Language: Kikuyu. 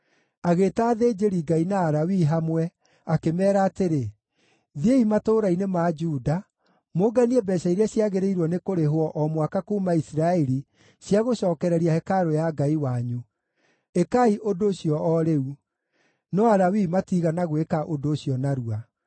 Agĩĩta athĩnjĩri-Ngai na Alawii hamwe, akĩmeera atĩrĩ, “Thiĩi matũũra-inĩ ma Juda mũnganie mbeeca iria ciagĩrĩirwo nĩ kũrĩhwo o mwaka kuuma Isiraeli cia gũcookereria hekarũ ya Ngai wanyu. Ĩkai ũndũ ũcio o rĩu.” No Alawii matiigana gwĩka ũndũ ũcio narua.